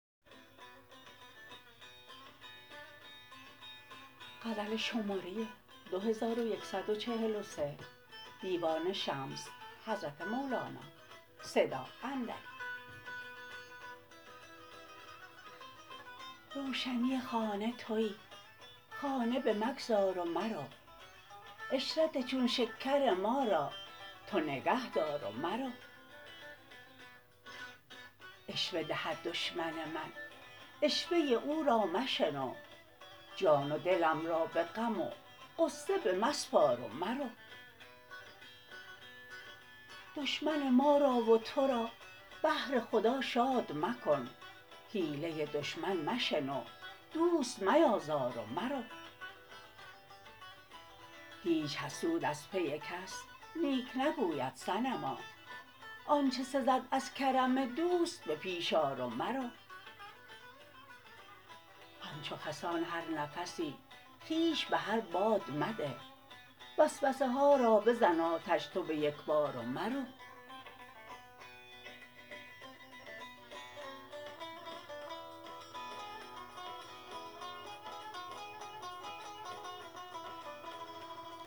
روشنی خانه تویی خانه بمگذار و مرو عشرت چون شکر ما را تو نگهدار و مرو عشوه دهد دشمن من عشوه او را مشنو جان و دلم را به غم و غصه بمسپار و مرو دشمن ما را و تو را بهر خدا شاد مکن حیله دشمن مشنو دوست میازار و مرو هیچ حسود از پی کس نیک نگوید صنما آنج سزد از کرم دوست به پیش آر و مرو همچو خسان هر نفسی خویش به هر باد مده وسوسه ها را بزن آتش تو به یک بار و مرو